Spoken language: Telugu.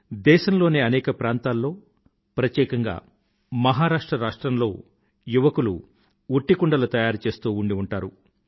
దేశంలోని అనేక ప్రాంతాల్లో ప్రత్యేకంగా మహారాష్ట్ర రాష్ట్రంలో యువకులు ఉట్టికుండలు తయారు చేస్తూ ఉండి ఉంటారు